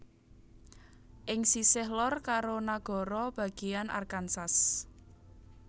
Ing sisih lor karo nagara bagéyan Arkansas